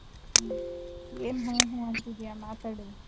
ಏನ್ ಹ್ಮ್ ಹ್ಮ್ಅಂತಿದೀಯ ಮಾತಾಡು.